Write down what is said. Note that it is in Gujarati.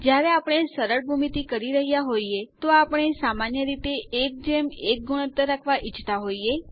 જ્યારે આપણે સરળ ભૂમિતિ કરી રહ્યા હોઈએ તો આપણે સામાન્ય રીતે 11 ગુણોત્તર રાખવા ઈચ્છતા હોઈએ